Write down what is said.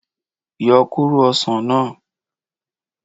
Yo kóró osàn náà